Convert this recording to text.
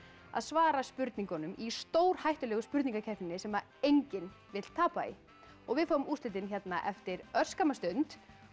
að svara spurningunum í stórhættulegu spurninga keppninni sem enginn vill tapa í við fáum úrslitin eftir örskamma stund